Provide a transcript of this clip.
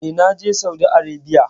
E, na je Saudi Arebiya.